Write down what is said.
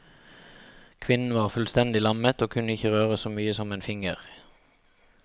Kvinnen var fullstendig lammet, og kunne ikke røre så mye som en finger.